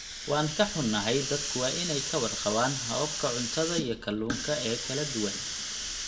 Waan ka xunnahay, dadku waa inay ka warqabaan hababka cuntada iyo kalluunka ee kala duwan.